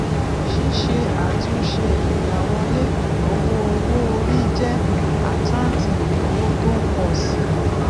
síse àtúnṣe ìgbáwọlé ìnáwó owó orí jẹ àkáǹtì ìnáwó tó ń pọ si